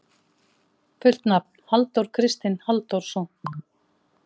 Fullt nafn: Halldór Kristinn Halldórsson.